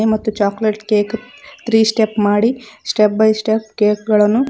ಮತ್ತು chocolate cake three step ಮಾಡಿ step by step cake ಗಳನ್ನು--